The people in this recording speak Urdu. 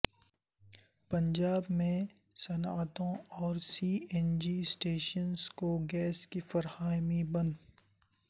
پنجاب میں صنعتوں اور سی این جی اسٹیشنر کو گیس کی فراہمی بند